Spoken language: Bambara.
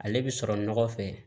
Ale bi sɔrɔ nɔgɔ fɛ